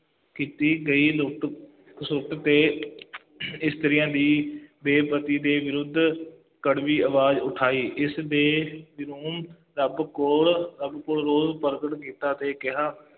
ਕੀਤੀ ਗਈ ਲੁੱਟ ਖਸੁੱਟ ਤੇ ਇਸਤਰੀਆਂ ਦੀ ਬੇਪਤੀ ਦੇ ਵਿਰੁੱਧ ਕੜਵੀ ਆਵਾਜ਼ ਉਠਾਈ, ਇਸਦੇ ਪ੍ਰਗਟ ਕੀਤਾ ਅਤੇ ਕਿਹਾ,